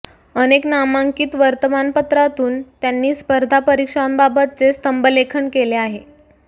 अनेक नामांकित वर्तमानपत्रातून त्यांनी स्पर्धा परिक्षांबाबतचे स्तंभलेखन केले आहे